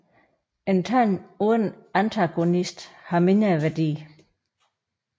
En tand uden antagonist har mindre værdi